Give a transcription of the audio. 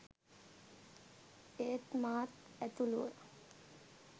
ඒත් මාත් ඇතුළුව